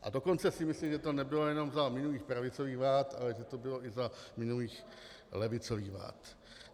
A dokonce si myslím, že to nebylo jenom za minulých pravicových vlád, ale že to bylo i za minulých levicových vlád.